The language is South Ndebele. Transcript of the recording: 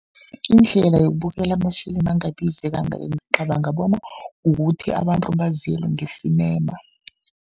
Indlela yokubukela ama-film angabizi kangaka, ngicabanga bona kukuthi abantu baziyele nge-cinema.